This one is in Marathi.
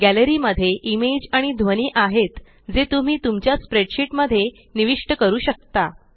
गॅलरी मध्ये इमेज आणि ध्वनी आहेत जे तुम्ही तुमच्या स्प्रेडशीट मध्ये निविष्ट करू शकता